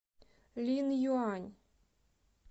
линъюань